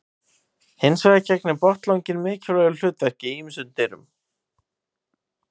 Hins vegar gegnir botnlanginn mikilvægu hlutverki í ýmsum dýrum.